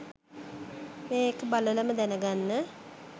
මේඑක බලලම දැනගන්න.